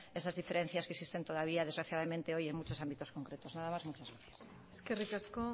esas diferencias que existen todavía desgraciadamente hoy en muchos ámbitos concretos nada más y muchas gracias eskerrik asko